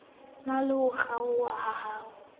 na le ho kgaokg aoha